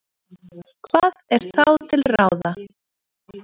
Hvað er þá til ráða?